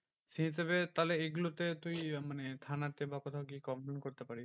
সেই হিসেবে তাহলে এগুলোতে তুই মানে থানা তে বা কোথাও গিয়ে complaint করতে পারিস।